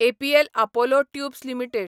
APL Apollo tubes limited